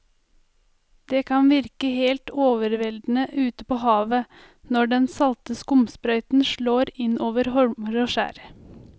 Det kan virke helt overveldende ute ved havet når den salte skumsprøyten slår innover holmer og skjær.